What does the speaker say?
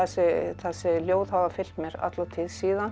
og þessi ljóð hafa fylgt mér alla tíð síðan